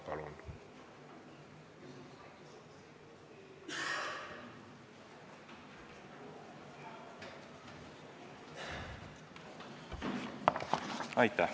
Palun!